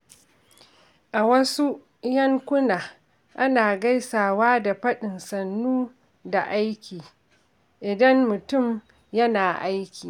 A wasu yankuna, ana gaisawa da faɗin "Sannu da aiki" idan mutum yana aiki.